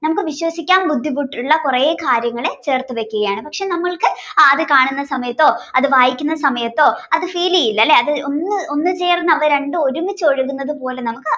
നമുക്ക് വിശ്വസിക്കാൻ ബുദ്ധിമുട്ടുള്ള കുറെ കാര്യങ്ങള് ചേർത്തുവയ്ക്കുകയാണ് പക്ഷേ നമ്മൾക്ക് അത് കാണുന്ന സമയത്തോ അത് വായിക്കുന്ന സമയത്തോ അത് feel ചെയ്യില്ലല്ലേ അതൊന്ന് ചേർന്ന് അവർ ഒരുമിച്ച് ഒഴുകുന്നത് പോലെ നമുക്ക്